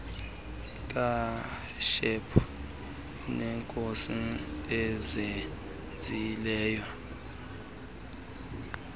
katshepo neekhosi azenzileyo